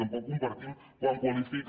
tampoc compartim quan qualifica